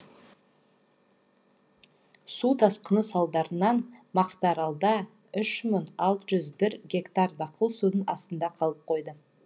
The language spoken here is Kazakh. су тасқыны салдарынан мақтааралда үш мың алты жүз бір гектар дақыл судың астында қалып қойды